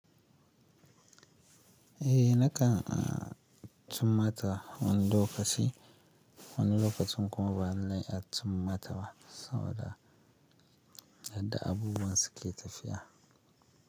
Eh nakan a tummata wani lokaci, wani lokacin kuma ba na iya tummata ba saboda yadda abubuwan suke tafiya.